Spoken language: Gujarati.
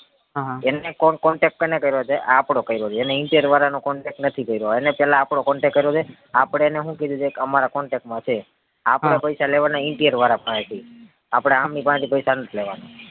હાહા એને contact કોને કર્યો છે આપડો કયરો છે એને interior વાર નો contact નથી કયરો અને પેલા આપડો contact કર્યો છે આપડે એને હું કીધું છે કે અમારાં contact માં છે આપડે પૈસા લેવાના interior વાળા પાહેથી આપડે આમની પાહે થી પૈસા નથી લેવાના